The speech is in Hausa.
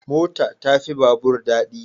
Mota ta fi babur dadi